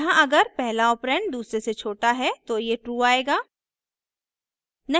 यहाँ अगर पहला ऑपरेंड दूसरे से छोटा है तो ये true आएगा